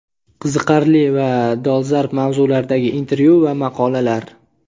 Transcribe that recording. Qiziqarli va dolzarb mavzulardagi intervyu va maqolalar.